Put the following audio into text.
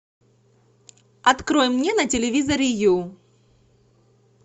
открой мне на телевизоре ю